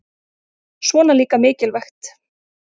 Svona líka mikilvægt